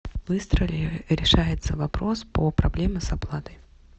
быстро ли решается вопрос по проблеме с оплатой